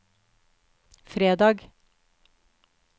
fredag